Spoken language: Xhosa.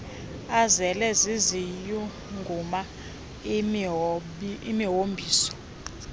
azele ziziyunguma imihombiso